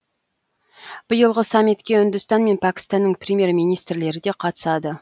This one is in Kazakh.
биылғы саммитке үндістан мен пәкістанның премьер министрлері де қатысады